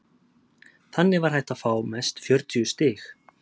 þannig var hægt að fá mest fjörutíu stig